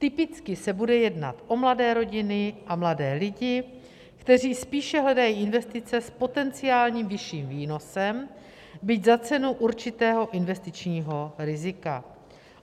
Typicky se bude jednat o mladé rodiny a mladé lidi, kteří spíše hledají investice s potenciálním vyšším výnosem, byť za cenu určitého investičního rizika.